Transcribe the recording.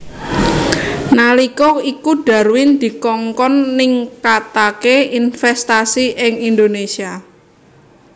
Nalika iku Darwin dikongkon ningkataké investasi ing Indonésia